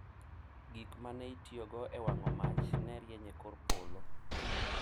Gik ma ne itiyogo e wang’o mach ne rieny e kor polo,